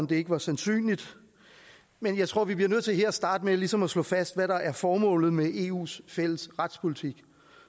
det ikke var sandsynligt men jeg tror vi bliver nødt til her at starte med ligesom at slå fast hvad der er formålet med eus fælles retspolitik